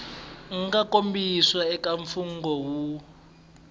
nga kombisiwa eka mfungho wu